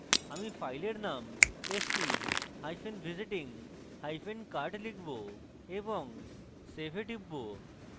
আমি ফাইলের নাম হিসাবে stvisitingcard লিখব এবং save এ type